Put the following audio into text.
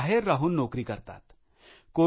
या गावातले अनेक लोक बाहेर राहून नोकरी करतात